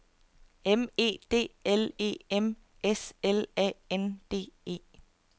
M E D L E M S L A N D E